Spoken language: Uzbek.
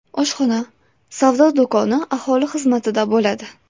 Oshxona, savdo do‘koni aholi xizmatida bo‘ladi.